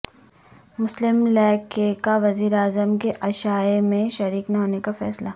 مسلم لیگ ق کا وزیراعظم کے عشائیے میں شریک نہ ہونے کا فیصلہ